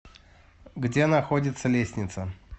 где находится лесница